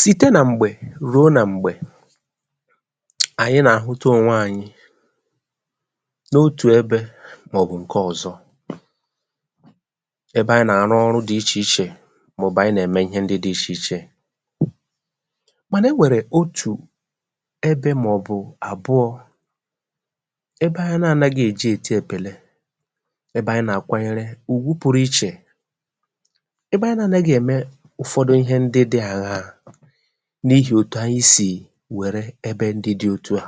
sìte nà m̀gbẹ̀ rùo nà m̀gbẹ̀, ànyị nà àhụta ònwe anyị, n’otù ẹbẹ̄, mà ọ̀ bụ̀ ǹkẹ ọ̀zọ, ẹbẹ anyị nà àrụ ọrụ dị ichè ichè, mà ọ̀ bụ̀ anyị nà ẹ̀mẹ ịhẹ dị ichè ichè. mànà ẹ nwẹ̀rẹ̀ otù ẹbẹ̄, mà ọ̀ bụ àbụọ̄, ẹbẹ anyị na anaghị è ji èti ẹpẹ̀lẹ, ẹbẹ anyị nà àkwanyẹrẹ ùgwu pụrụ ichè. ẹbẹ anyị na anaghị ẹ̀mẹ ụ̀fọdụ ịhẹ ndị dị̄ àñaà, n’ihì otu anyị sì wẹ̀rẹ ẹbẹ ndị dị otu à.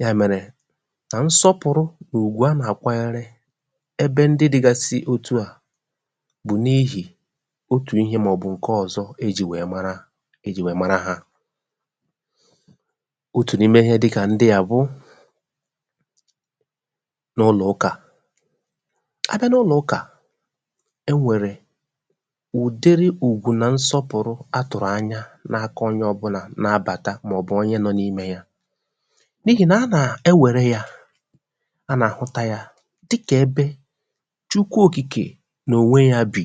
yà mẹ̀rẹ̀ nà nsọpụ̀rụ, nà ùgwù a nà àkwanyẹrẹ ẹbẹ ndị digasi otu à, bụ̀ n’ihì otù ihē mà ọ̀ bụ̀ ǹkẹ ọ̀zọ ị jī wẹ̀ẹ mara ha. otù n’ime ịhẹ dị kà ndị à bụ, n’ụnọ̀ ụkà. a bịa n’ụnọ̀ ụkà, e nwèrè ụ̀dị ùgwù nà nsọpụ̀rụ a tụ̀rụ̀ any ana aka onye ọbụla na abàta, mà ọ̀ bụ̀ onye nọ n’imē ya, n’ihì nà a nà àhụta ya dị kà ẹbẹ Chukwu òkìkè nà ònwe ya bi,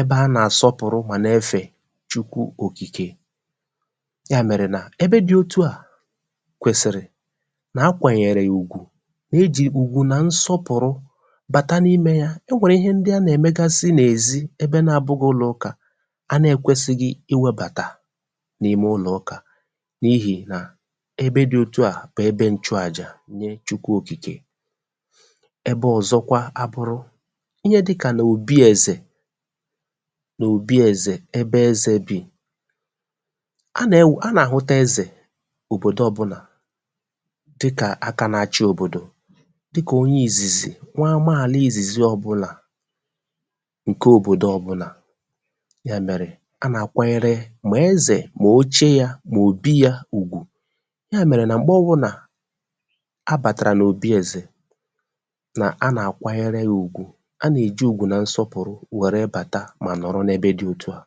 ẹbẹ a nà àsọpụ̀rụ, mà na ẹfẹ Chukwu òkìke. yà mẹ̀rẹ̀ nà ebe dị otu à kwèsị̀rị nà a kwànyẹ̀rẹ̀, e jì ugwù nà nsọpụ̀rụ bàta n’imē ya. ẹ nwẹ̀rẹ̀ ịhẹ ndị a nà ẹ̀mẹgasị n’èzi, ẹbẹ n’abụghị ụnọ̀ ụkà, a nà ẹ̀kwẹsịghị ịwẹ̄bàtà n’ime ụnọ̀ ụkà, n’ihì nà ẹbe, dị otu à bụ̀ ẹbẹ nchu àjà nye Chukwu òkìkè. ẹbẹ ọzọkwa a bụrụ ihe dị kà n’obi ẹ̀zẹ̀, n’obi ẹ̀zẹ̀, ẹbẹ ẹzẹ̄ bì. a nà àhụta ẹzẹ̀ n’òbòdo ọbụlà dị kà aka na achi òbòdò, dị kà onye ìzìzì nwa ama ìzìzi ọbụlà, ǹkẹ òbòdo ọbụlà. yà mẹ̀rẹ̀, a nà àkwanyẹrẹ mà ẹzẹ̀, mà oche ya, mà òbi ya ùgwù. yà mèrè nà m̀gbe ọbụnà a bàtàrà n’obi ẹ̀zẹ̀, nà a nà àkwanyẹrẹ ya ùgwù. a nà è ji ùgwù nà nsọpụ̀rụ wẹ̀rẹ bàta mà nọ̀rọ n’ẹbẹ dị ètu à,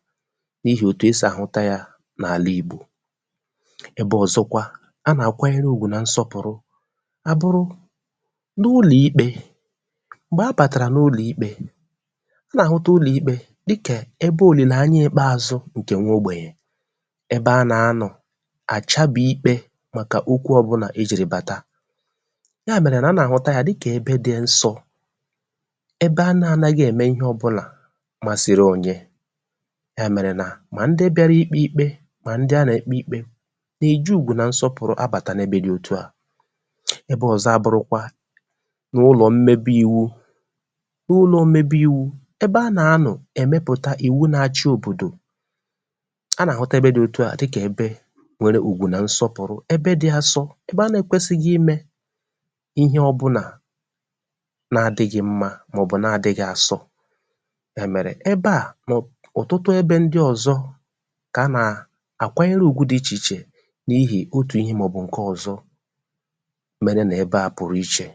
n’ihì òtù e sì àhụta ya n’àla Ìgbò. ẹbẹ ọ̀zọkwa a nà àkwanyẹrẹ ùgwù nà nsọpụ̀rụ a bụrụ, n’ụlọ̀ ikpē. m̀gbẹ̀ a bàtàrà n’ụlọ̀ ikpē, a nà àhụta ụlọ̀ ikpē dị kà ẹbẹ òlìlè anya Ikpeazu ogbènye, ẹbẹ a nà anọ̀ àchabì ikpē okwu ọbụnà e jìrì bàta. ya mẹ̀rẹ nà a nà àhụta ya dị kà ẹbe, dị nsọ̄, ẹbẹ a nà anaghị ẹ̀mẹ ịhẹ ọbụnà màsiri onye. yà mèrè nà, mà ndị bịara ikpē ikpe, mà ndị a nà èkpe ikpē, nà e ji ùgwù nà nsọpụ̀rụ a bàta ebe dị otu à. ẹbẹ ọ̀zọ a bụrụkwa n’ụnọ̀ mmebi iwu. ụnọ̀ mmebi iwu, ẹbẹ a nà anọ̀ ẹ̀mẹpụ̀ta ìwu na achị òbòdò, a nà àhụta ẹbẹ dị otu à dị kà ẹbẹ nwẹrẹ ùgwù na nsọpụ̀rụ̀, ẹbẹ dị asọ ịmẹ̄ ịhẹ ọbụnà na adịghị mmā, mà ọ̀ bụ̀ na adịghị asọ. yà mẹ̀rẹ̀ ẹbẹ à, mà ọ̀ bụ̀ ọ̀tụtụ ẹbẹ ndị ọ̀zọ kà a nà àkwanyere ùgwu dị ichè ichè n’ịhị̀ otù ịhẹ mà ọ̀ bụ̀ ǹkẹ ọ̀zọ, mẹrẹ nà ẹbẹ à pụ̀rụ̀ ichè.